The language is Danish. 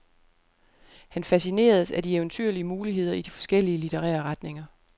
Han fascineredes af de eventyrlige muligheder i de forskellige literære retninger.